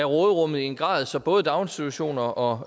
råderummet i en grad så både daginstitutioner og